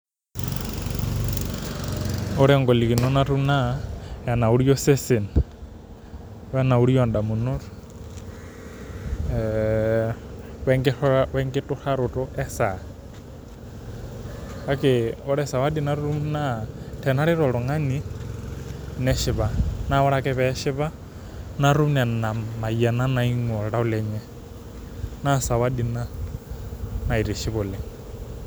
Ore golikinot naa enauri osesen onauri damunot oe kitaroto esaa, kake ore sawadi natum naa tenaret oltungani naa neshipa natum nena mayianat naingua oltau lenye na sawadi ina naitiship oooleng.